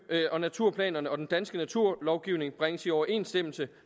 og naturplanerne og den danske naturlovgivning bringes i overensstemmelse